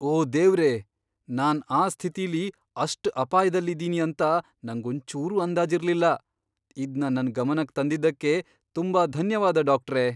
ಓ ದೇವ್ರೇ! ನಾನ್ ಆ ಸ್ಥಿತಿಲಿ ಅಷ್ಟ್ ಅಪಾಯ್ದಲ್ಲಿದೀನಿ ಅಂತ ನಂಗೊಂಚೂರೂ ಅಂದಾಜಿರ್ಲಿಲ್ಲ. ಇದ್ನ ನನ್ ಗಮನಕ್ ತಂದಿದ್ದಕ್ಕೆ ತುಂಬಾ ಧನ್ಯವಾದ, ಡಾಕ್ಟ್ರೇ!